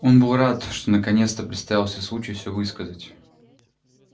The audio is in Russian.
он был рад что наконец-то представился случай всё высказать